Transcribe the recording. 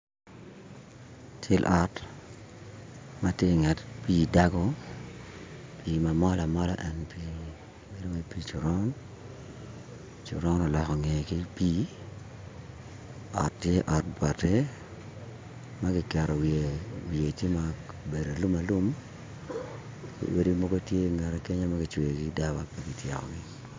Cal ot ma ti i nget pii dago pii mamol amola en pii bedo wai pii coron, coron oloko ngeye ki pii ot tye ot bati ma ki keto wiye tye ma obedo alum alum ki odi mogo ti i ngette ma kicweyogi ki daba pi kityekogi